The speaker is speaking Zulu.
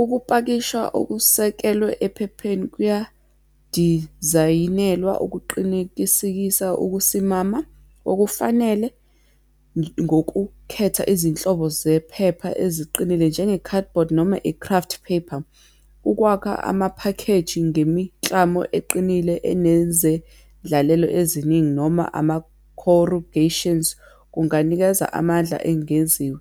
Ukupakisha okusekelwe ephepheni kuyandizayinelwa okuqinikisikisa ukusimama okufanele ngokukhetha izinhlobo zephepha eziqinile njenge-cardboard, noma i-craft paper. Ukwakha amaphakheji ngemiklamo eqinile enezendlalelo eziningi, noma ama-corrugations kunganikeza amandla engenziwa.